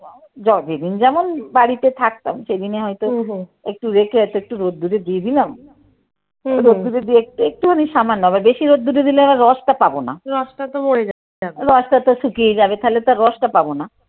Jug যেদিন যেমন বাড়িতে থাকতাম সেদিনই হয়তো একটু রেখে একটু রোদ্দুরে দিয়ে দিলাম রোদ্দুরে দিয়ে একটু একটুখানি সামান্য। বেশি রোদ্দুরে দিলে আবার রসটা পাবো না। রসটা তো মরে যাবে। রসটা তো শুকিয়ে যাবে, তাহলে তো আর রসটা পাবো না।